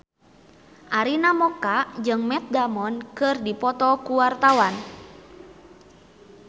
Arina Mocca jeung Matt Damon keur dipoto ku wartawan